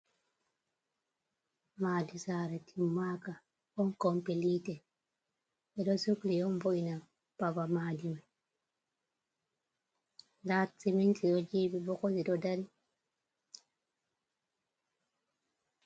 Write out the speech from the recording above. Madi sara timmaka on kompilite ɓe ɗo sukli on bo’ina babal madi me nda siminti ɗo jiɓi bokoti ɗo dari.